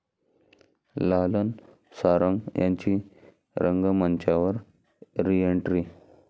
लालन सारंग यांची रंगमंचावर रिएंट्री